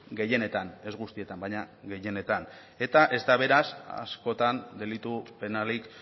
gehienetan ez guztietan baina gehienetan eta ez da beraz askotan delitu penalik